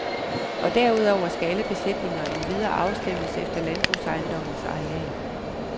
Og derudover skal alle besætninger endvidere afstemmes efter landbrugsejendommens areal.